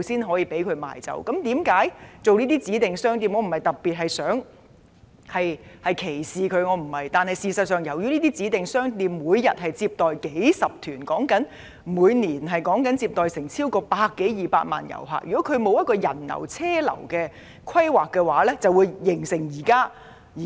我並非歧視這些指定商店，但這些商店每天接待數十團旅客，即每年接待超過100多萬至200萬名旅客，如果沒有就人流車流作出規劃，便會造成現